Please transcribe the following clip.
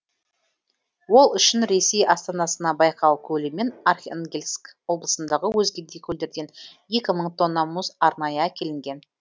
ол үшін ресей астанасына байкал көлі мен архангельск облысындағы өзге де көлдерден екі мың тонна мұз арнайы әкелінген